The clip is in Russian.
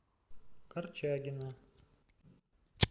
корчагина